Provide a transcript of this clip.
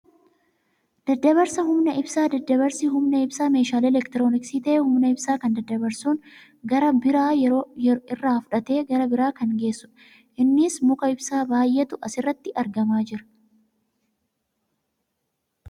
Daddabarsa Humna ibsaa. Daddabarsi humna ibsaa meeshaa elektirooniksi ta'ee humna ibsaa kan daddabarsuun gara biraa irraa fuudhee gara biraa kan geessu dha. Innis muka ibsaa baayyeetu as irratti argamaa jira.